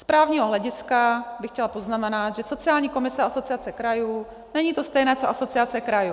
Z právního hlediska bych chtěla poznamenat, že sociální komise Asociace krajů není to samé co Asociace krajů.